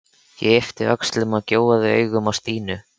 Ég yppti öxlum og gjóaði augunum á Stínu.